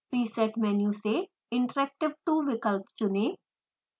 preset menu से interactive 2 विकल्प चुनें